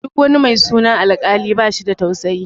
Duk wani mai sunan Alkali bashi da tausayi.